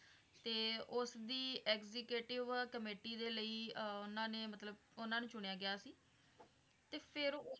ਤੇ ਉਸਦੀ executive committee ਦੇ ਲਈ ਆਹ ਉਹਨਾਂ ਨੇ ਮਤਲੱਬ ਉਹਨਾਂ ਨੂੰ ਸੁਣਿਆ ਗਿਆ ਸੀ ਤੇ ਫੇਰ,